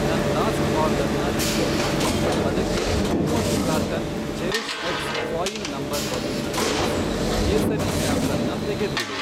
ನನ್ ಲಾಸ್ಟ್ ಆರ್ಡರ್ನ ರಿಪೀಟ್ ಮಾಡಿ, ಅದಕ್ಕೆ ಮೂವತ್ತು ಕಾರ್ಟನ್ ಚೆರಿಷ್ಎಕ್ಸ್ ಫಾ಼ಯಿಲ್ ನಂಬರ್ ಬಲೂನ್ನ ಸೇರ್ಸಿ, ಕೇಸರಿ ಸ್ಯಾಫ್ರನ್ನ ತೆಗೆದ್ಬಿಡು.